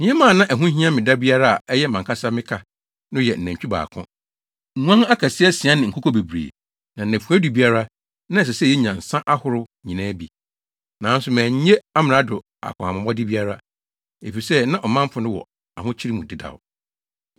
Nneɛma a na ɛho hia me da biara a ɛyɛ mʼankasa me ka no yɛ nantwi baako, nguan akɛse asia ne nkokɔ bebree. Na nnafua du biara, na ɛsɛ sɛ yenya nsa ahorow nyinaa bi. Nanso mannye amrado akɔnhamabɔde biara, efisɛ na ɔmanfo no wɔ ahokyere mu dedaw.